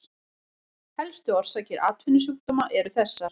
Helstu orsakir atvinnusjúkdóma eru þessar